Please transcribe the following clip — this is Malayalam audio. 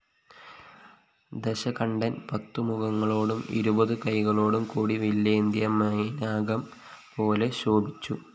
ദശകണ്ഠന്‍ പത്തുമുഖങ്ങളോടും ഇരുപതുകൈകളോടും കൂടി വില്ലേന്തിയ മൈനാകംപോലെ ശോഭിച്ചു